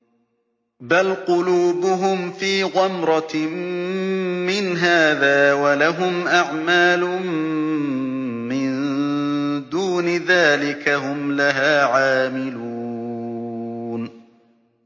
بَلْ قُلُوبُهُمْ فِي غَمْرَةٍ مِّنْ هَٰذَا وَلَهُمْ أَعْمَالٌ مِّن دُونِ ذَٰلِكَ هُمْ لَهَا عَامِلُونَ